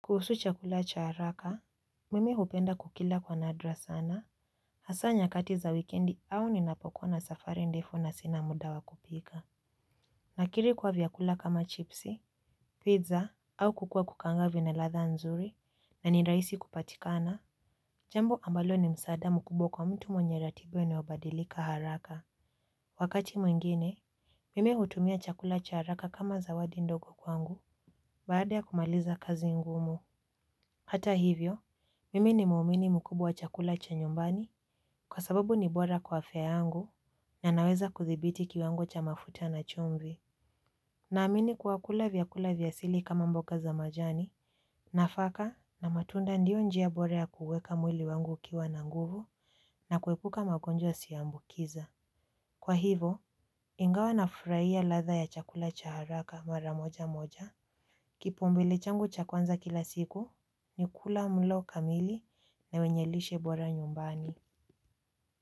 Kuhusu chakula cha haraka, mimi hupenda kukila kwa nadra sana, hasa nyakati za wikendi au ninapokuwa na safari ndefu na sina muda wa kupika. Nakiri kuwa vyakula kama chipsi, pizza, au kuku wa kukaanga vina ladha nzuri, na ni rahisi kupatikana. Jambo ambalo ni msaada mkubwa kwa mtu mwenye ratiba inayobadilika haraka. Wakati mwingine, mimi hutumia chakula cha haraka kama zawadi ndogo kwangu, baada ya kumaliza kazi ngumu. Hata hivyo, mimi ni muumini mkubwa chakula cha nyumbani kwa sababu ni bora kwa afya yangu na naweza kudhibiti kiwango cha mafuta na chumvi. Naamini kwa kula vyakula vya asili kama mboga za majani nafaka na matunda ndio njia bora ya kuweka mwili wangu ukiwa na nguvu na kuepuka magonjwa yasiambukiza. Kwa hivo, ingawa nafurahia ladha ya chakula cha haraka mara moja moja. Kipaumbele changu cha kwanza kila siku ni kula mlo kamili na wenye lishe bora nyumbani.